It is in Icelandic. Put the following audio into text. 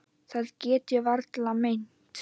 Það get ég varla meint.